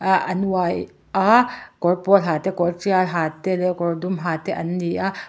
ah an uai a kawr pawl ha te kawr tial ha te leh kawr dum ha te an ni a.